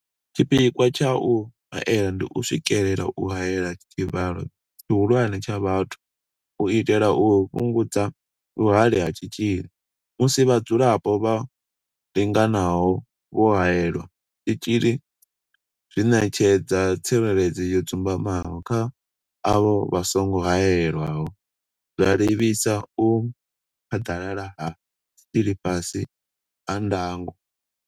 Tshipikwa tsha u haela ndi u swikelela u haela tshivhalo tshihulwane tsha vhathu u itela u fhungudza vhuhali ha tshitzhili musi vhadzulapo vha linganaho vho haelelwa tshitzhili zwi ṋetshedza tsireledzo yo dzumbamaho kha avho vha songo haelwaho, zwa livhisa u phaḓalala ha tshitzhili fhasi ha ndango.